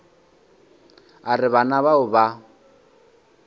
a re bana bao ba